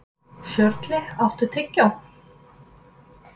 Sörli, áttu tyggjó?